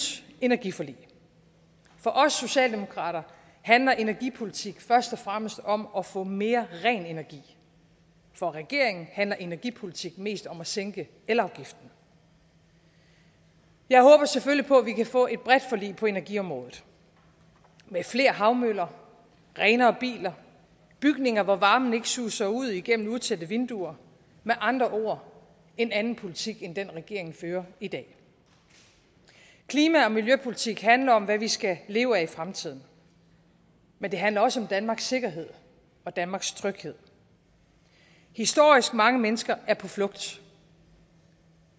energiforlig for os socialdemokrater handler energipolitik først og fremmest om at få mere ren energi for regeringen handler energipolitik mest om at sænke elafgiften jeg håber selvfølgelig på at vi kan få et bredt forlig på energiområdet med flere havmøller renere biler bygninger hvor varmen ikke suser ud igennem utætte vinduer med andre ord en anden politik end den regeringen fører i dag klima og miljøpolitik handler om hvad vi skal leve af i fremtiden men det handler også om danmarks sikkerhed og danmarks tryghed historisk mange mennesker er på flugt